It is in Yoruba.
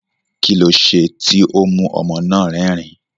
Kí lo ṣe tí ó mú ọmọ náà rẹ́rìn-ín?